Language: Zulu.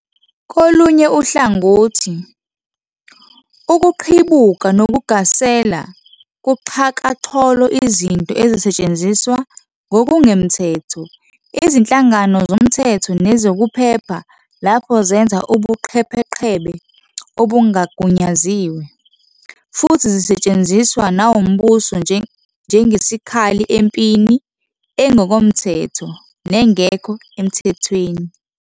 Kolunye uhlangothi, ukuqhibuka nokugasela kuxhakaxholo izinto ezisetshenziswa ngokungemthetho izinhlangano zomthetho nezokuphepha, lapho zenza ubuqhebeqhebe obungagunyaziwe, futhi zisetshenziswa nawumbuso njengesikhali empini engokomthetho nengekho emthethweni.